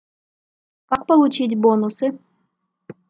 как получить бонусы